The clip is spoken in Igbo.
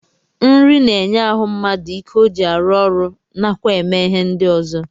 Nri na-enye ahụ mmadụ ike ọ ji arụ ọrụ nakwa eme ihe ndị ọzọ